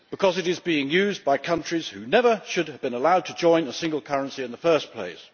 Because it is being used by countries which never should have been allowed to join a single currency in the first place.